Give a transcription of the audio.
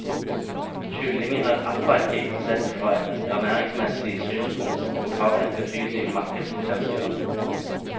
Kylling er attraktivt sett fra et ernæringsmessig synspunkt, og har et betydelig markedspotensial.